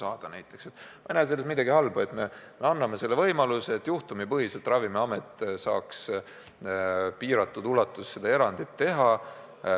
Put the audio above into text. Ma ei näe selles midagi halba, et me anname Ravimiametile võimaluse juhtumipõhiselt ja piiratud ulatuses erandi teha.